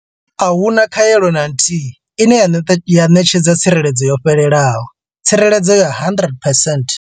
Ahuna khaelo na nthihi ine ya ṋetshedza tsireledzo yo fhelelaho tsireledzo ya 100 percent.